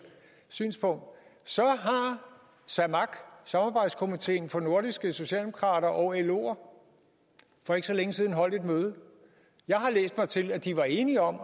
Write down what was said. synspunkt så har samak samarbejdskomiteen for de nordiske socialdemokratier og loer for ikke så længe siden holdt et møde jeg har læst mig til at de var enige om